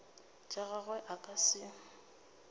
tša gagwe a ka se